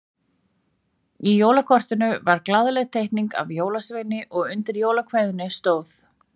Í jólakortinu var glaðleg teikning af jólasveini og undir jólakveðjunni stóð